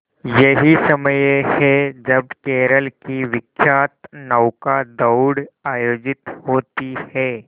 यही समय है जब केरल की विख्यात नौका दौड़ आयोजित होती है